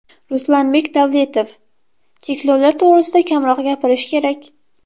Ruslanbek Davletov: Cheklovlar to‘g‘risida kamroq gapirish kerak.